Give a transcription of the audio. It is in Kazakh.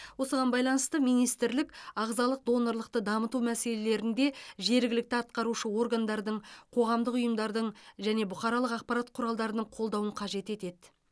осыған байланысты министрлік ағзалық донорлықты дамыту мәселелерінде жергілікті атқарушы органдардың қоғамдың ұйымдардың және бұқаралық ақпарат құралдарының қолдауын қажет етеді